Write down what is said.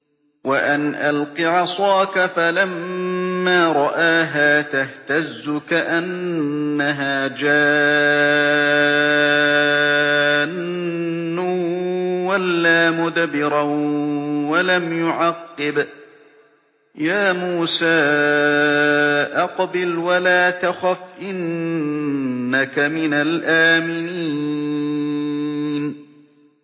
وَأَنْ أَلْقِ عَصَاكَ ۖ فَلَمَّا رَآهَا تَهْتَزُّ كَأَنَّهَا جَانٌّ وَلَّىٰ مُدْبِرًا وَلَمْ يُعَقِّبْ ۚ يَا مُوسَىٰ أَقْبِلْ وَلَا تَخَفْ ۖ إِنَّكَ مِنَ الْآمِنِينَ